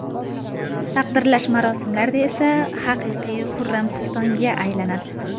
Taqdirlash marosimlarida esa haqiqiy Xurram sultonga aylanadi.